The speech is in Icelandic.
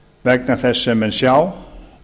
vegna þess sem menn sjá